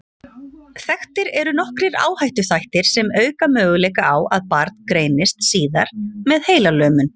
Þekktir eru nokkrir áhættuþættir sem auka möguleika á að barn greinist síðar með heilalömun.